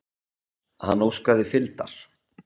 Hann óskaði fylgdar.